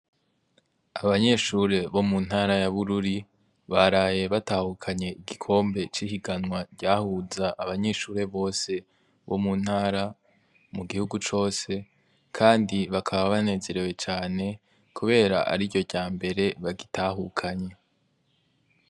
Abanyeshure bo mu ntara ya bururi baraye batahukanye igikombe c'ihiganwa ryahuza abanyeshure bose bo mu ntara mu gihugu cose, kandi bakaba banezerewe cane, kubera ari ryo rya mbere bagitahukanye.